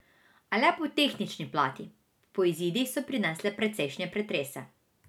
A le po tehnični plati, po izidih so prinesle precejšnje pretrese.